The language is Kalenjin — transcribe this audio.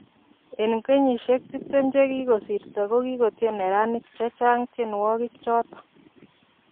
En kenyisiek tiptem chekikosirto kokikotien neranik chechang tienwokik choton.